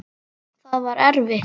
Það var erfitt.